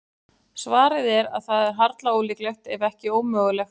Svarið er að það er harla ólíklegt, ef ekki ómögulegt.